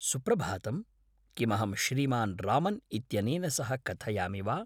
सुप्रभातम्, किमहं श्रीमान् रामन् इत्यनेन सह कथयामि वा?